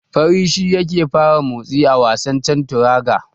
Fari shi yake fara motsi a wasan Chanturanga.